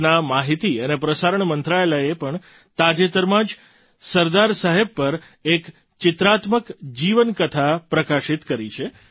દેશના માહિતી અને પ્રસારણ મંત્રાલયે પણ તાજેતરમાં જ સરદાર સાહેબ પર એક ચિત્રાત્મક જીવનકથા પ્રકાશિત કરી છે